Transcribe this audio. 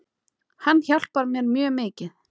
Hann hjálpar mér mjög mikið.